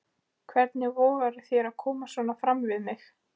Hvernig vogarðu þér að koma svona fram við mig!